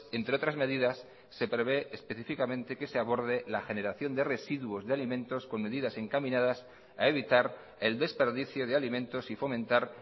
entre otras medidas se prevé específicamente que se aborde la generación de residuos de alimentos con medidas encaminadas a evitar el desperdicio de alimentos y fomentar